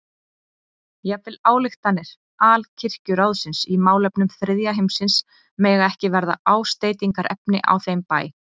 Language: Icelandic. Jafnvel ályktanir Alkirkjuráðsins í málefnum þriðja heimsins mega ekki verða ásteytingarefni á þeim bæ.